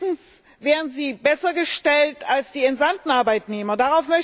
Übrigens wären sie besser gestellt als die entsandten Arbeitnehmer.